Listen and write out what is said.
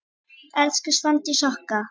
Elsku Svandís okkar.